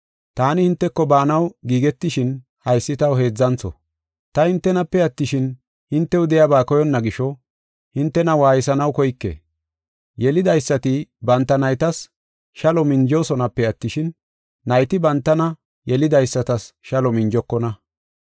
Taani hinteko baanaw giigetishin haysi taw heedzantho. Ta hintenape attishin, hintew de7iyaba koyonna gisho hintena waaysanaw koyke. Yelidaysati banta naytas shalo minjoosonape attishin, nayti bantana yelidaysatas shalo minjokona.